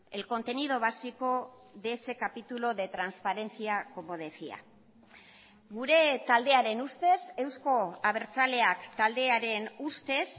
el contenido básico de ese capítulo de transparencia como decía gure taldearen ustez eusko abertzaleak taldearen ustez